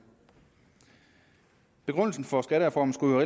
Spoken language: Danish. begrundelsen for skattereformen skulle jo